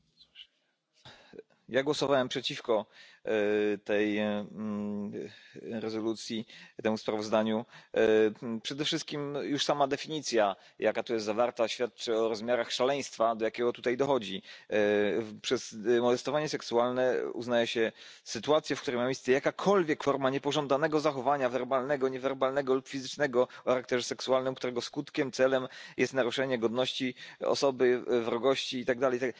Panie Przewodniczący! Ja głosowałem przeciwko temu sprawozdaniu. Przede wszystkim już sama definicja, jaka tu jest zawarta świadczy o rozmiarach szaleństwa do jakiego tutaj dowodzi. Przez molestowanie seksualne uznaje się sytuację, w której ma miejsce jakakolwiek forma niepożądanego zachowania werbalnego, niewerbalnego lub fizycznego o charakterze seksualnym, którego skutkiem, celem jest naruszenie godności osoby, wrogości i tak dalej.